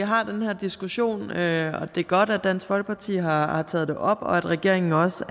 har den her diskussion og at det er godt at dansk folkeparti har har taget det op og at regeringen også